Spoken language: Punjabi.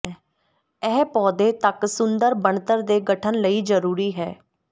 ਇਹ ਪੌਦੇ ਤੱਕ ਸੁੰਦਰ ਬਣਤਰ ਦੇ ਗਠਨ ਲਈ ਜ਼ਰੂਰੀ ਹੈ